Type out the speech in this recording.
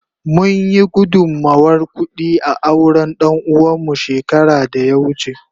Mun yi gudunmawar kudi a auren danuwa mu shekara da ya wuce.